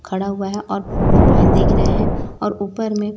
खड़ा हुआ हैं ओर मोबाइल देख रहा है और ऊपर में--